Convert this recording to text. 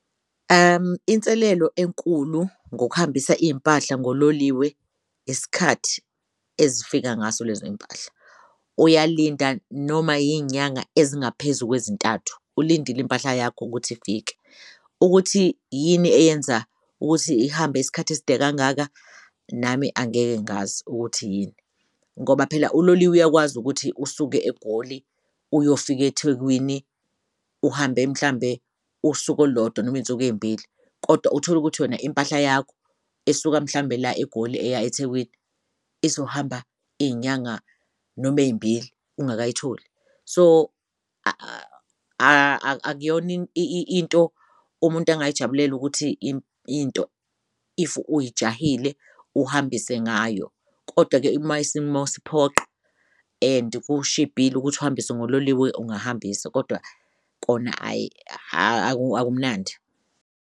Inselelo enkulu ngokuhambisa iy'mpahla ngololiwe isikhathi ezifika ngaso lezoy'mpahla Uyalinda noma iy'nyanga ezingaphezu kwezintathu ulindile impahla yakho ukuthi ifike ukuthi yini eyenza ukuthi ihambe isikhathi eside kangaka, nami angeke ngazi ukuthi yini. Ngoba phela uloliwe uyakwazi ukuthi usuke egoli uyofik'eThwekwini uhambe mhlambe usuku olulodwa noma iy'nsuku ey'mbili kodwa utholukuthi yona impahla yakho esuka mhlawumbe la eGoli eya eThekwini izohamba iy'nyanga noma ey'mbili ungakayitholi. So akuyona into umuntu engayijabulela ukuthi into if uyijahile uhambise ngayo. Kodwa-ke uma isimo siphoqa and kushibhile ukuthi uhambise ngololiwe ungahambisa kodwa kona hhayi akumnandi.